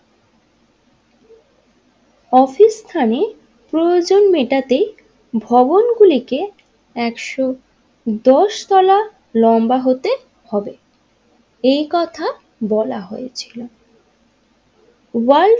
অফিসস্থানে প্রয়োজন মেটাতে ভবনগুলিকে একশো দশ তলা লম্বা হতে হবে এই কথা বলা হয়েছিল ওয়ার্ল্ড।